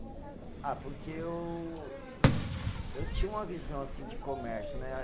Ah, porque eu, eu tinha uma visão, assim, de comércio, né?